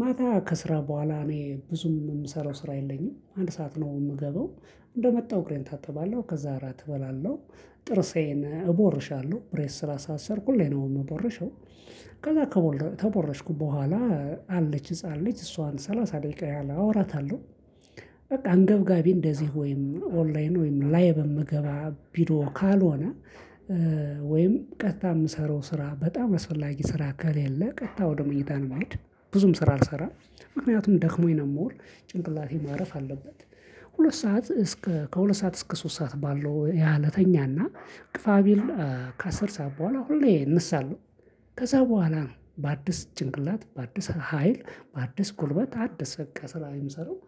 ማታ ከስራ በኋላ እኔ ብዙም የምሰራው ስራ የለኝም አንድ ሰዓት ነው የምገባው እንደመጣው እግሬን እታጠባለው ከዛ አራት እበላለሁ። ጥርሴን እቦርሻለሁ ብሬስ ስላሳሰርኩኝ ሁሌ ነው ምቦርሸው እና ከቦረሽኩ በኋላ አለች ህፃን ልጅ እሷን ሰላሳ ደቂቃ ያህል አውራታለሁ። በቃ አንገብጋቢ እንደዚህ ወይም ኦንላይን ወይም ላይቭ የምገባ ቢሮ ካልሆነ ወይም ቀጥታ የምሰራው ስራ በጣም አስፈላጊ ስራ ከሌለ ቀጥታ ወደ መኝታ ነው ምሄድ። ብዙም ስራ አልሰራም ምክንያቱም ደክሞኝ ነው ምውል ጭንቅላቴ ማረፍ አለበት። ሁለት ሰዓት እስከ ከሁለት ሰዓት እስከ ሶስት ሰዓት ባለው ያልተኛና ግፋ ቢል ከአስር ሰዓት በኋላ ሁሌ እነሳለው። ከዛ በኋላ በአዲስ ጭንቅላት በአዲስ ሀይል በአዲስ ጉልበት አዲስ በቃ ስራ የምሰራው።